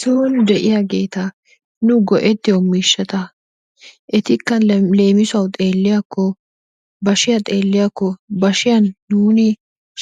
Son de'iyaageta nu go"ettiyo miishshata ettika leemisuwaawu xeelliyaakko bashshiyaa xeelliyaakko bashshiyaan nuni